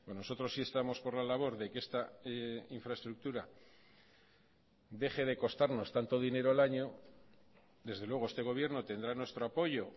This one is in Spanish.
nosotros sí estamos por la labor de que esta infraestructura deje de costarnos tanto dinero al año desde luego este gobierno tendrá nuestro apoyo